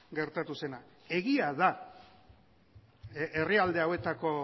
gertatu zena egia da herrialde hauetako